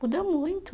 Muda muito.